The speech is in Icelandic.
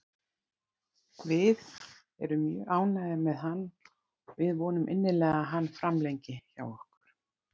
Við erum mjög ánægðir með hann og við vonum innilega að hann framlengi hjá okkur.